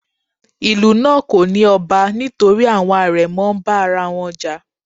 Ìlú náà kò ní ọba nítorí àwọn àrẹ̀mọ ń bá ara wọn jà.